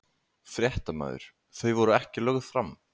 Fréttamaður: Þau voru ekki lögð fram?